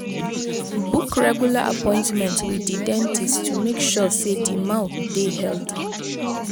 book regular appointment with di dentist to make sure sey di mouth dey healthy